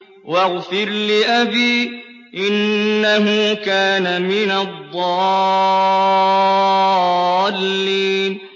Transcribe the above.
وَاغْفِرْ لِأَبِي إِنَّهُ كَانَ مِنَ الضَّالِّينَ